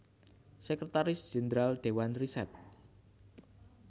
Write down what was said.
Sekretaris Jenderal Dewan Riset